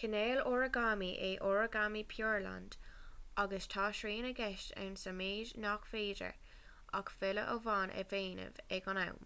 cineál oragámaí é oragámaí pureland agus tá srian i gceist ann sa mhéid nach féidir ach filleadh amháin a dhéanamh ag an am